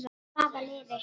Hvaða liði?